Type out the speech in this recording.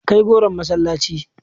Kai goron masallaci.